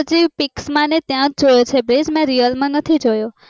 મેં પણ pics માં ને એમજ જોયો છે મેં real માં નથી જોયો